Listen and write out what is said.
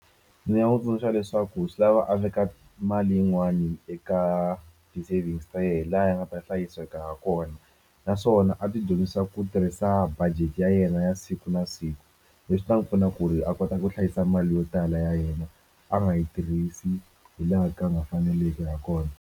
Ndzi nga n'wi tsundzuxa leswaku swi lava a veka mali yin'wani eka ti-savings ta yena laha yi nga ta hlayiseka ha kona naswona a ti dyondzisa ku tirhisa budget ya yena ya siku na siku leswi swi ta n'wi pfuna ku ri a kota ku hlayisa mali yo tala ya yena a nga yi tirhisi hi laha ka a nga faneleki ha kona.